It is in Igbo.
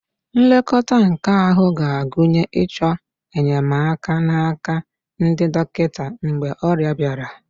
Nlekọta nke ahụ ga-agụnye ịchọ enyemaka n'aka ndị dọkịta mgbe ọrịa bịara